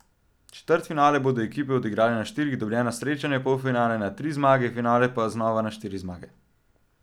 Četrtfinale bodo ekipe odigrale na štiri dobljena srečanja, polfinale na tri zmage, finale pa znova na štiri zmage.